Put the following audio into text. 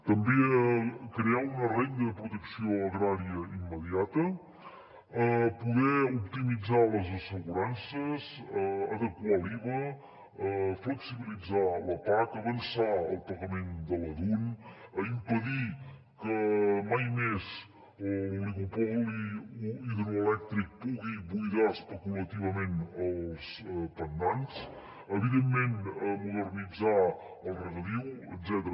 també crear una renda de protecció agrària immediata poder optimitzar les assegurances adequar l’iva flexibilitzar la pac avançar el pagament de la dun impedir que mai més l’oligopoli hidroelèctric pugui buidar especulativament els pantans evidentment modernitzar el regadiu etcètera